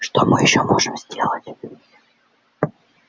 что мы ещё можем сделать